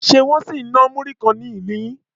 Ṣe Wọ́n sì ń ná múrí kan ni ilu yín?